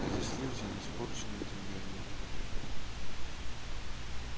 а здесь люди не испорченные деньгами